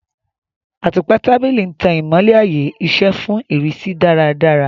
Àtùpà tábìlì ń tan ìmọ́lẹ̀ ààyè-iṣẹ́ fún ìrísí dáradára.